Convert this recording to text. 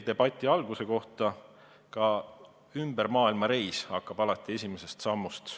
Debati algamise kohta aga ütlen, et ka ümbermaailmareis hakkab peale esimest sammust.